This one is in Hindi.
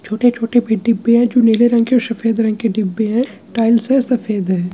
छोटे-छोटे भी डिब्बी हैजो नीले रंग के और सफेद रंग के डिब्बी है टाइल्स है सफेद है।